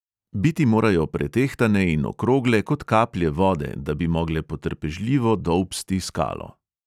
Biti morajo pretehtane in okrogle kot kaplje vode, da bi mogle potrpežljivo dolbsti skalo.